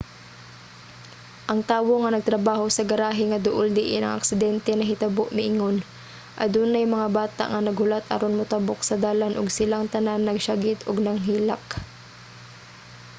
ang tawo nga nagtrabaho sa garahe nga duol diin ang aksidente nahitabo miingon: adunay mga bata nga naghulat aron motabok sa dalan ug silang tanan nagsiyagit ug nanghilak.